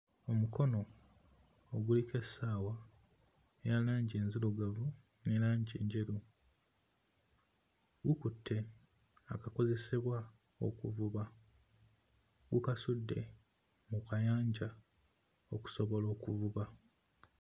Omukono oguliko essaawa ya langi enzirugavu ne langi enjeru gukutte akakozesebwa okuvuba gukasudde mu kayanja okusobola okuvuba.